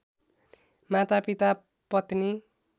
मातापिता पत्नी